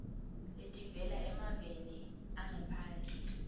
letivela emaveni angephandle